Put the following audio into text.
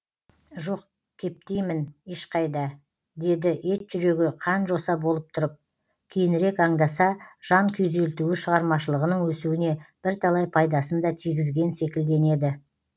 жоқ кептеймін ешқайда деді ет жүрегі қан жоса болып тұрып кейінірек аңдаса жан күйзелтуі шығармашылығының өсуіне бірталай пайдасын да тигізген секілденеді